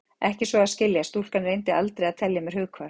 Ekki svo að skilja: stúlkan reyndi aldrei að telja mér hughvarf.